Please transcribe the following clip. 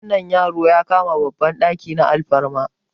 wani yaro ya kama babban daki na alfarma